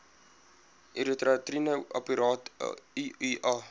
intrauteriene apparaat iua